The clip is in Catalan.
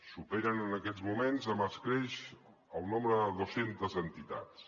superen en aquests moments amb escreix el nombre de dos centes entitats